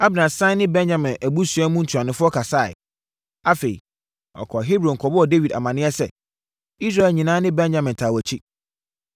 Abner sane ne Benyamin abusua mu ntuanofoɔ kasaeɛ. Afei, ɔkɔɔ Hebron kɔbɔɔ Dawid amaneɛ sɛ, Israel nyinaa ne Benyamin taa wʼakyi.